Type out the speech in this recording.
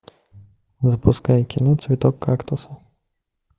запускай кино цветок кактуса